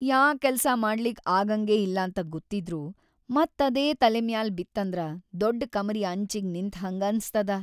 ಯಾ ಕೆಲ್ಸ ಮಾಡ್ಲಿಕ್ ಆಗಂಗೇ ಇಲ್ಲಂತ ಗೊತ್ತಿದ್ರೂ ಮತ್‌ ಅದೇ ತಲಿಮ್ಯಾಲ್ ಬಿತ್ತಂದ್ರ ದೊಡ್ಡ್‌ ಕಮರಿ ಅಂಚಿಗ್ ನಿಂತ್‌ಹಂಗ್ ಅನಸ್ತದ.